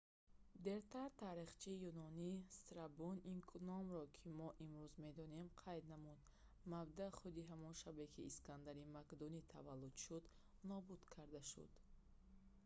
дертар таърихчии юнонӣ страбон ин номро ки мо имрӯз медонем қайд намуд мабдаъ худи ҳамон шабе ки искандари мақдунӣ таваллуд шуд нобуд карда шуд